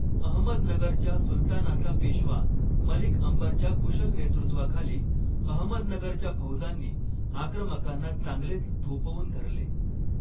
अहमदनगरच्या सुलतानाचा पेशवा मलिक अंबरच्या कुशल नेतृत्वाखाली अहमदनगरच्या फौजांनी आक्रमकांना चांगलेच थोपवून धरले.